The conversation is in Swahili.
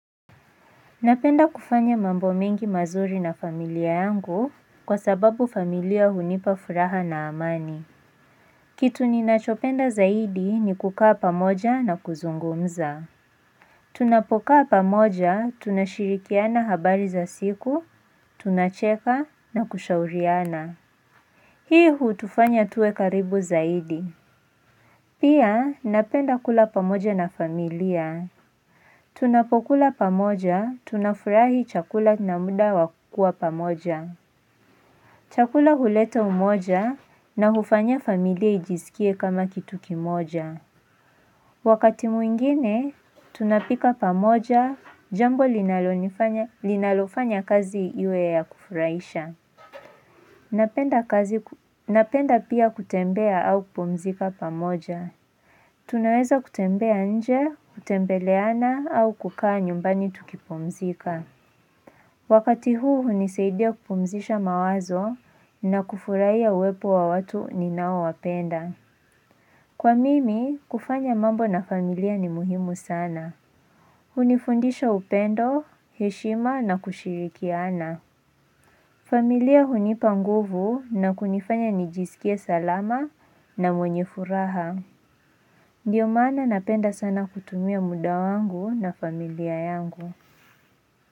Napenda kufanya mambo mengi mazuri na familia yangu kwa sababu familia hunipa furaha na amani. Kitu ninachopenda zaidi ni kukaa pamoja na kuzungumza. Tunapokaa pamoja, tunashirikiana habari za siku, tunacheka na kushauriana. Hii hutufanya tuwe karibu zaidi. Pia napenda kula pamoja na familia. Tunapokula pamoja, tunafurahi chakula na muda wa kuwa pamoja Chakula huleta umoja na hufanya familia ijiskie kama kitu kimoja Wakati mwingine, tunapika pamoja, jambo linalonifanya linalofanya kazi iwe ya kufurahisha Napenda pia kutembea au kupumzika pamoja Tunaweza kutembea nje, kutembeleana au kukaa nyumbani tukipumzika. Wakati huu hunisaidia kupumzisha mawazo na kufuraia uwepo wa watu ninaowapenda. Kwa mimi, kufanya mambo na familia ni muhimu sana. Hunifundisha upendo, heshima na kushirikiana. Familia hunipa nguvu na kunifanya nijisikie salama na mwenye furaha. Ndiyo maana napenda sana kutumia muda wangu na familia yangu.